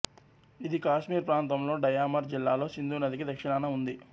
ఇది కాశ్మీర్ ప్రాంతంలో డయామర్ జిల్లాలో సింధు నదికి దక్షిణాన ఉంది